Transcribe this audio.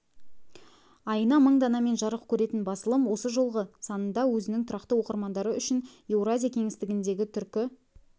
айына мың данамен жарық көретін басылым осы жолғы санында өзінің тұрақты оқырмандары үшін еуразия кеңістігіндегі түркі